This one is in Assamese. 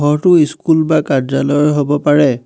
ঘৰটো ইস্কুল বা কাৰ্য্যালয়ৰ হ'ব পাৰে।